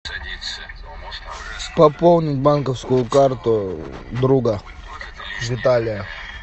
пополнить банковскую карту друга виталия